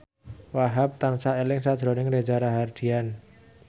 Wahhab tansah eling sakjroning Reza Rahardian